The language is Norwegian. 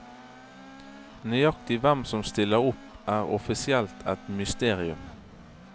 Nøyaktig hvem som stiller opp er offisielt et mysterium.